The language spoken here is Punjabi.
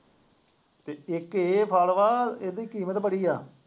ਅਤੇ ਇੱਕ ਫਲ ਵਾ, ਇਹਦੀ ਕੀਮਤ ਬੜੀ ਹੈ,